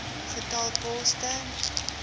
getal poste